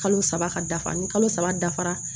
Kalo saba ka dafa ni kalo saba dafara